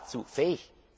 Sind wir dazu fähig?